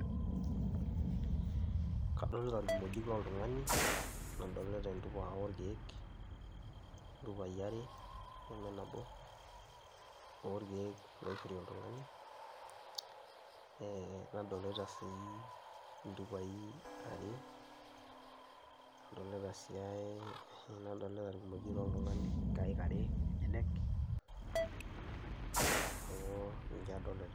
Kadolita irkimojik loltung'ani, nadolita entupa oorkeek intupai are, neme nabo oorkeek loishori oltung'ani ee nadolita sii ntupai are, nadolita sii aii hii nadolita irkimojik loltung'ani nkaek are enyenek, neeku nche adolita.